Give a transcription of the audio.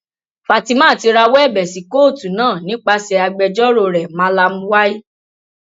fatima tó rawọ ẹbẹ sí kóòtù náà nípasẹ agbẹjọrò rẹ malam y